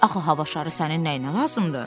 Axı hava şarı sənin nəyinə lazımdır?